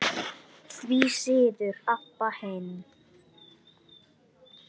Því síður Abba hin.